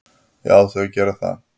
Já, þau gera það.